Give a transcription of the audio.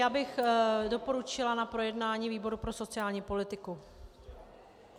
Já bych doporučila na projednání výbor pro sociální politiku.